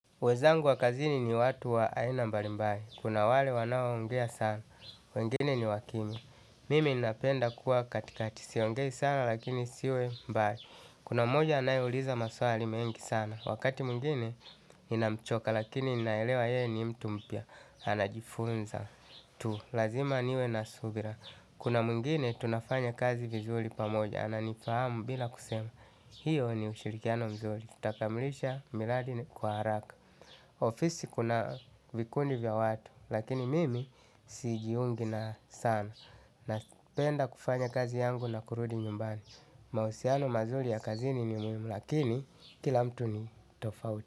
Wezangu wa kazini ni watu wa aina mbali mbali, kuna wale wanaoongea sana, wengine ni wa kimya. Mimi napenda kuwa katikati, siongei sana lakini siwe mbali. Kuna mmoja anayeuliza maswali mengi sana, wakati mwingine ninamchoka lakini naelewa yeye ni mtu mpya. Anajifunza tu, lazima niwe na subira. Kuna mwingine tunafanya kazi vizuri pamoja, ananifahamu bila kusema. Hiyo ni ushirikiano mzuri, tutakamilisha miradi kwa haraka. Ofisi kuna vikundi vya watu, lakini mimi sijiungi nayo sana. Napenda kufanya kazi yangu na kurudi nyumbani. Mahusiano mazuri ya kazini ni muhimu, lakini kila mtu ni tofauti.